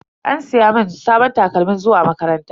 An siya mun sabon takalmin zuwa makaranta.